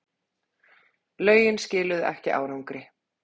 Lögin skiluðu ekki árangri